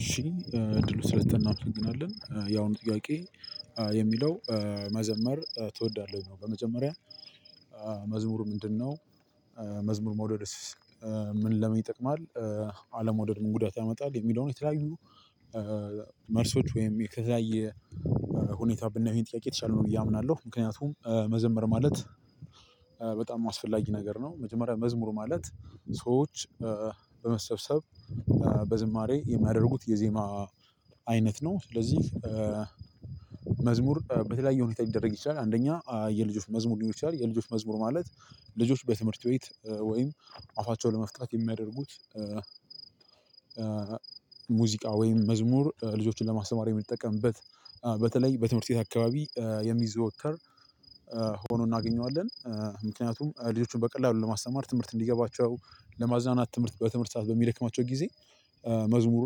እሺ እድሉ ስለተሰጠን እንናመሰግለን የአሁኑ ጥያቄ የሚለው መዘመር ትወዳለህ ነው። በመጀመሪያ መዝሙሩ ምንድነው? መዝሙር መውደድስ ምን ለምን ይጠቅማል? አለመውደድ ምን ጉዳት ያመጣል። የሚለውን የተለያዩ መልሶች ወይም የተለያየ ሁኔታ ብናይ ይሄን ጥያቄ የተሻለ ነው ብዬ አምናለሁ። ምክንያቱም መዘመር ማለት በጣም አስፈላጊ ነገር ነው። መጀመሪያ መዝሙር ማለት ሰዎች በመሰብሰብ በዝማሬ የሚያደርጉት የዜማ አይነት ነው። ስለዚህ መዝሙር በተለያየ ሁኔታ ሊደረግ ይችላል። አንደኛ የልጆች መዝሙር ሊሆን ይችላል። የልጆች መዝሙር ማለት ልጆች በትምህርት ቤት ወይም አፋቸውን ለመፍታት የሚያደርጉት። ሙዚቃ ወይም መዝሙር ልጆችን ለማስተማር የምንጠቀምበት በተለይ በትምህርት ቤት አካባቢ የሚዘወተር ሆኖ እናገኘዋለን። ምክንያቱም ልጆቹን በቀላሉ ለማስተማር ትምህርት እንዲገባቸው ለማዝናናት ትምህርት በትምህርት ሰዓት በሚደክማቸው ጊዜ መዝሙር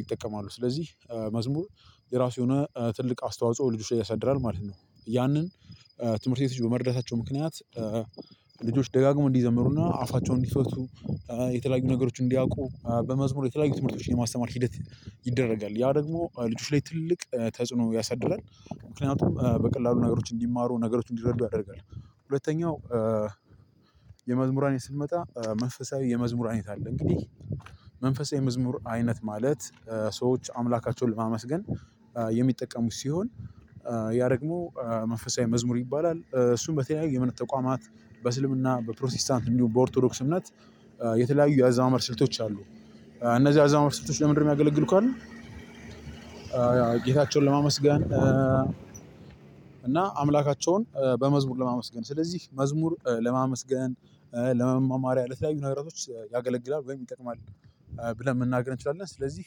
ይጠቀማሉ። ስለዚህ መዝሙር የራሱ የሆነ ትልቅ አስተዋጽኦ ልጆች ላይ ያሳድራል ማለት ነው። ያንን ትምህርት ቤት በመረዳታቸው ምክንያት ልጆች ደጋግምው እንዲዘምሩና አፋቸውን እንዲፈቱ የተለያዩ ነገሮችን እንዲያውቁ በመዝሙር የተለያዩ ትምህርቶችን የማስተማር ሂደት ይደረጋል። ያ ደግሞ ልጆች ላይ ትልቅ ተጽዕኖ ያሳድራል ምክንያቱም በቀላሉ ነገሮች እንዲማሩ ነገሮች እንዲረዱ ያደርጋል። ሁለተኛው የመዝሙር አይነት ስንመጣ መንፈሳዊ የመዝሙር የት አለ? እንግዲህ መንፈሳዊ መዝሙር አይነት ማለት ሰዎች አምላካቸውን ለማመስገን የሚጠቀሙት ሲሆን ያ ደግሞ መንፈሳዊ መዝሙር ይባላል። እሱም በተለያዩ የመንፈሳዊ ተቋማት በእስልምና በፕሮቴስታንት እንዲሁ በኦርቶዶክስ እምነት የተለያዩ የአዘማመር ስልቶች አሉ። እነዚህ የአዘማመር ስልቶች ለምንድነው የሚያገለግሉት? ካልን ጌታቸውን ለማመስገን እና አምላካቸውን በመዝሙር ለማመስገን ስለዚህ መዝሙር ለማመስገን ለመመማሪያ ለተለያዩ ነገሮች ያገለግላል ወይም ይጠቅማል። ብለን መናገር እንችላለን። ስለዚህ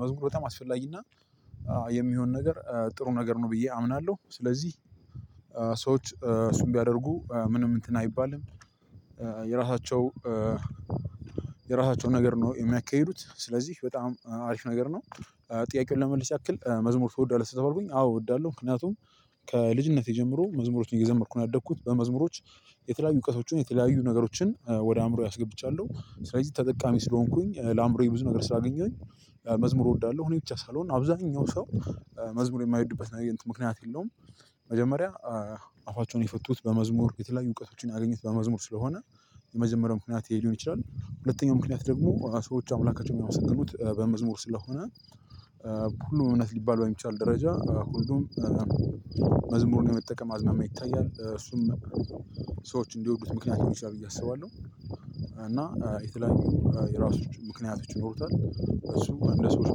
መዝሙር በጣም አስፈላጊና የሚሆን ነገር ጥሩ ነገር ነው ብዬ አምናለሁ። ስለዚህ ሰዎች እሱን ቢያደርጉ ምንም እንትን አይባልም። የራሳቸው የራሳቸው ነገር ነው የሚያካሂዱት ስለዚህ በጣም አሪፍ ነገር ነው። ጥያቄውን ለመመልስ ያክል መዝሙር ትወዳለህ ከተበልኩኝ አዎ እወዳለሁ። ምክንያቱም ከልጅነቴ ጀምሮ መዝሙሮችን እየዘመርኩ ነው ያደግኩት። በመዝሙሮች የተለያዩ እውቀቶችን የተለያዩ ነገሮችን ወደ አእምሮዬ አስገብቻለሁ ስለዚህ ተጠቃሚ ስለሆንኩኝ ለአእምሮዬ ብዙ ነገር ስላገኘሁኝ። መዝሙር እወዳለሁ። እኔ ብቻ ሳልሆን አብዛኛው ሰው መዝሙር የማይወዱበት ነገር ምክንያት የለውም። መጀመሪያ አፋቸውን የፈቱት በመዝሙር የተለያዩ እውቀቶችን አግኝተው በመዝሙር ስለሆነ የመጀመሪያው ምክንያት ይሄ ሊሆን ይችላል። ሁለተኛው ምክንያት ደግሞ ሰዎች አምላካቸውን ያመሰገኑት በመዝሙር ስለሆነ። ሁሉም እውነት ሊባል በሚቻል ደረጃ ሁሉም መዝሙርን የመጠቀም አዝማሚያ ይታያል እሱም ሰዎች እንዲወዱት ምክንያት ሊሆን ይችላል ብዬ አስባለሁ። እና የተለያዩ የራሱ ምክንያቶች ይኖሮታል እሱም እንደ ሰዎች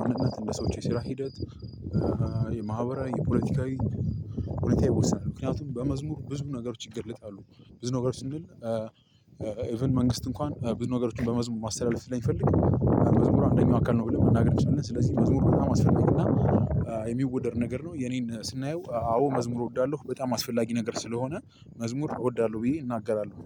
ማንነት እንደ ሰው የሰራ ሂደት። የማህበራዊ የፖለቲካዊ ሁኔታ ይወስናል። ምክንያቱም በመዝሙር ብዙ ነገሮች ይገለጣሉ። ብዙ ነገሮች እንድል ኢቭን መንግስት እንኳን ብዙ ነገሮችን በመዝሙር ማስተላለፍ ስለሚፈልግ መዝሙሩ አንደኛው አካል ነው ብለን መናገር እንችላለን። ስለዚህ መዝሙር በጣም አስፈላጊ እና የሚወደድ ነገር ነው። የኔን ስናየው አዎ መዝሙር እወዳለሁ በጣም አስፈላጊ ነገር ስለሆነ መዝሙር እወዳለሁ ብዬ እናገራለሁ።